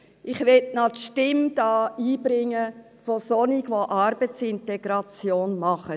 Ich möchte hier die Stimme derer einbringen, die Arbeitsintegration betreiben.